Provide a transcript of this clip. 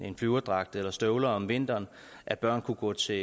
en flyverdragt eller støvler om vinteren at børnene kunne gå til